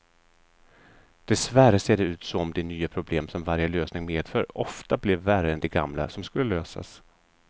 Dessvärre ser det ut som de nya problem som varje lösning medför ofta blir värre än de gamla som skulle lösas.